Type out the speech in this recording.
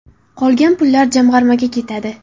Qolgan pullar jamg‘armaga ketadi.